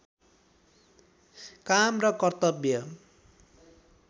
काम र कर्तव्य